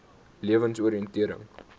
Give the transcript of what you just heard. lewensoriëntering